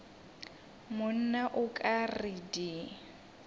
monna o ka re di